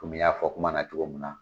Komi n y'a fɔ kuma na cogo min na